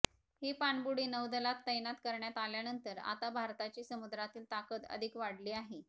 ही पाणबुडी नौदलात तैनात करण्यात आल्यानंतर आता भारताची समुद्रातील ताकद अधिक वाढली आहे